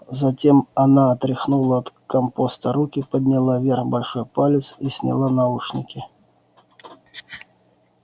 затем она отряхнула от компоста руки подняла вверх большой палец и сняла наушники